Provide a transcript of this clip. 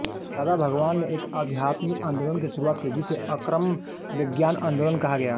दादा भगवान ने एक अध्यात्मिक आंदोलन की शुरुआत कि जिसे अक्रम विज्ञान आन्दोलन कहा गया